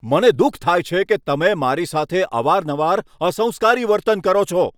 મને દુઃખ થાય છે કે તમે મારી સાથે અવારનવાર અસંસ્કારી વર્તન કરો છો.